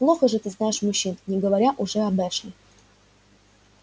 плохо же ты знаешь мужчин не говоря уже об эшли